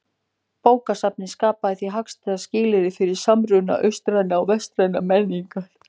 Bókasafnið skapaði því hagstæð skilyrði fyrir samruna austrænnar og vestrænnar menningar.